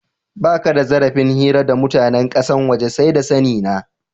Baka da zarafin hira da mutanen kasan waje, sai da sani na.